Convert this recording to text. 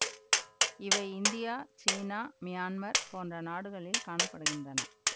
இவை India China Myanmar போன்ற நாடுகளில் காண படுகின்றன